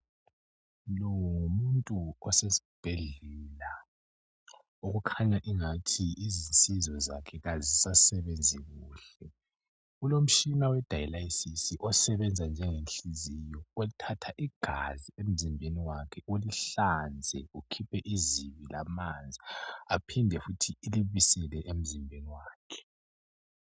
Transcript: lowu ngumuntu osesibhedlela okukhanya engathi izinsizo zakhe azisasebenzi kuhle ulo mtshina we dylasis osebenza njenge nhliziyo othatha igazi emzimbeni wakhe ulihlanze ukhiphe izibi lamanzi iphinde futhi ilibisele emzimbeni wakhe